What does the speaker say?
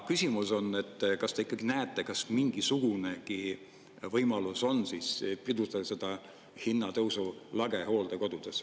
Küsimus on, et kas te ikkagi näete, kas mingisugunegi võimalus on pidurdada seda hinnatõusu lage hooldekodudes.